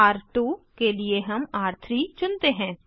र2 के लिए हम र3 चुनते हैं